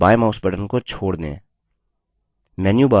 अब बायें mouse button को छोड़ दें